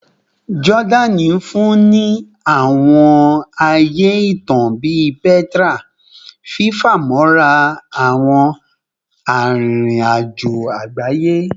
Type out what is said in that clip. Jordani nfunni awọn aaye itan bii Petra, fifamọra awọn aririn ajo agbaye